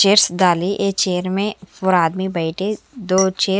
chairs दाने a chair में four आदमी बेठे दो चेयर्स --